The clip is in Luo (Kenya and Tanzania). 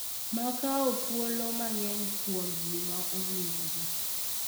Ma kawo thuolo mang’eny kuom ji ma owinjore.